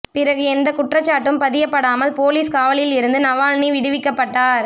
பிறகு எந்த குற்றச்சாட்டும் பதியப்படாமல் போலிஸ் காவலில் இருந்து நவால்னி விடுவிக்கப்பட்டார்